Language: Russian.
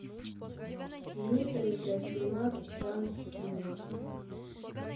имеется ли у тебя фильмас жанр триллер